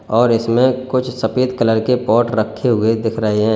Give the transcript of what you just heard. और इसमें कुछ सफेद कलर के पॉट रखे हुए दिख रहे हैं।